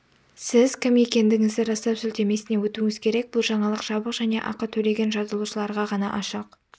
сіз кім екендігіңізді растау сілтемесіне өтуіңіз керек бұл жаңалық жабық және ақы төлеген жазылушыларға ғана ашық